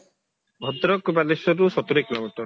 ଭଦ୍ରକ ବାଲେଶ୍ବରରୁ ସତୁରୀ kilometer